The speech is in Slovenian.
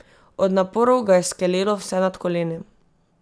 Od naporov ga je skelelo vse nad koleni.